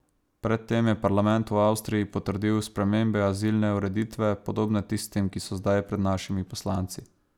Pred tem je parlament v Avstriji potrdil spremembe azilne ureditve, podobne tistim, ki so zdaj pred našimi poslanci.